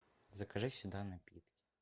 закажи сюда напитки